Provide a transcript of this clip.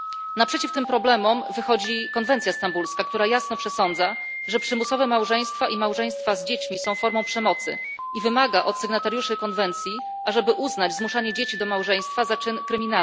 Naprzeciw tym problemom wychodzi konwencja stambulska, która jasno przesądza, że przymusowe małżeństwa i małżeństwa z dziećmi są formą przemocy, i wymaga od sygnatariuszy konwencji, ażeby uznać zmuszanie dzieci do małżeństwa za czyn przestępczy.